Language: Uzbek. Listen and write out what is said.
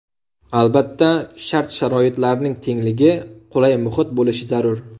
Albatta, shart-sharoitlarning tengligi, qulay muhit bo‘lishi zarur.